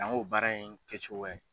Na n k'o baara in kɛcogo .